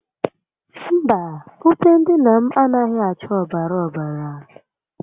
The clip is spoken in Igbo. Mba, ute ndina m anaghi acha obara obara